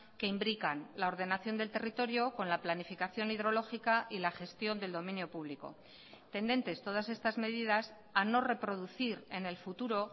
que imbrican la ordenación del territorio con la planificación hidrológica y la gestión del dominio público tendentes todas estas medidas a no reproducir en el futuro